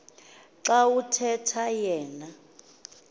xa kuthetha yena